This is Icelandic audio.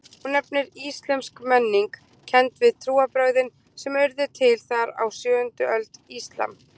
Hún nefndist íslömsk menning, kennd við trúarbrögðin sem urðu til þar á sjöundu öld, íslam.